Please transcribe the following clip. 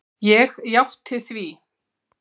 Ég játti því.